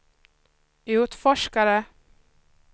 utforskare